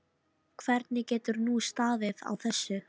Hvernig getur nú staðið á þessu?